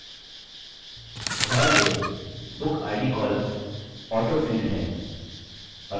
ध्यान दें bookid columns autofield है